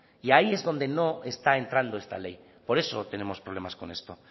y ahí es donde no está entrando esta ley por eso tenemos problemas con esto